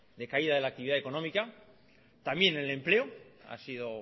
de caída de la actividad económica también en el empleo ha sido